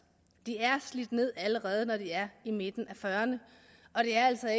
de er slidt ned allerede når de er i midten af fyrrerne og det er altså